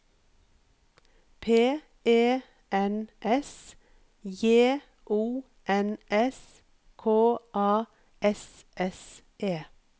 P E N S J O N S K A S S E